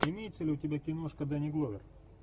имеется ли у тебя киношка дэнни гловер